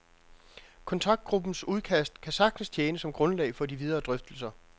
Kontaktgruppens udkast kan sagtens tjene som grundlag for de videre drøftelser.